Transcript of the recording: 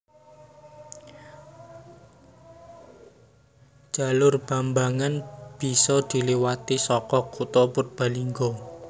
Jalur Bambangan bisa diliwati saka kutha Purbalingga